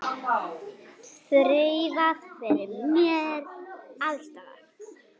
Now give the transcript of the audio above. Þreifað fyrir mér alls staðar.